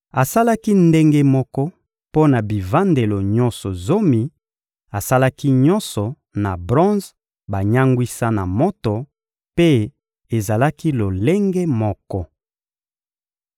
Asalaki ndenge moko mpo na bivandelo nyonso zomi: asalaki nyonso na bronze banyangwisa na moto, mpe ezalaki lolenge moko.